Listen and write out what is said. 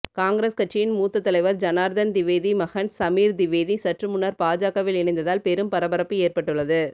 காங்கிரஸ் கட்சியின் மூத்த தலைவர் ஜனார்தன் திவேதி மகன் சமீர் திவேதி சற்றுமுன்னர் பாஜகவில் இணைந்ததால் பெரும் பரபரப்பு ஏற்பட்டுள்ளது